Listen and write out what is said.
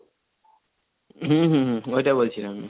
হম হম ওইটা বলছিলাম।